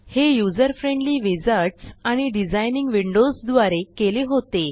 हे user friendly wizards आणि designing Windows द्वारे केले होते